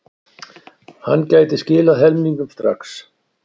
Hann gæti skilað helmingnum strax.